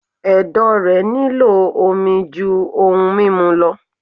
Ẹ̀dọ̀ rẹ̀ nílò omi jú ohun mímu lọ.